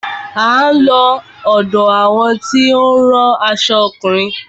A ó lọ ọ̀dọ àwọn tí ó ń rán aṣo ọkùnrin.